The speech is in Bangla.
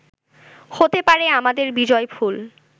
হতে পারে আমাদের বিজয়ফুল